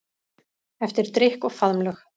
Eftir drykk og faðmlög.